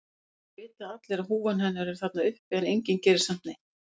Það vita allir að húfan hennar er þarna uppi en enginn gerir samt neitt.